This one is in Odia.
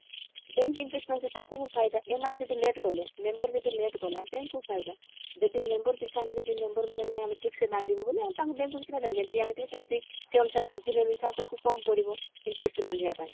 bank interest ନଉଛି ତାଙ୍କୁ ଫାଇଦା ଏମାନେ ଯଦି late କଲେ member ଯଦି late କଲା bank କୁ ଫାଇଦା ଯଦି member ପିଛା ଆମେ ଯଦି member ମାନେ ନାଇଁ ଆମେ ଠିକସେ ବାନ୍ଧିବୁ ବୋଲି ତାଙ୍କ bank କୁ କିଛି ଫାଇଦା ନାହିଁ ଯେମତି ଆଣିଥିବ ସେମତି ସେ ଅନୁସାରେ ସୁଝିଲେ ବି ଆଗକୁ କମ ପଡିବ interest ବାନ୍ଧିବା ପାଇଁ